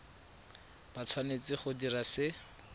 ba tshwanetse go dira se